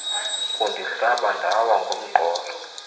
kundihlaba ndawa ngomqolo